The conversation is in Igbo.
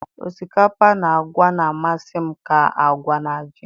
osikapa na agwa na-amasị m ka agwa na ji